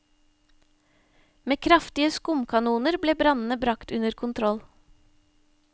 Med kraftige skumkanoner ble brannene bragt under kontroll.